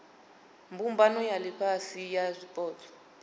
mbumbano ya ifhasi ya zwipotso